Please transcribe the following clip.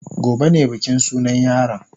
Gobe ne bikin sunan yaron.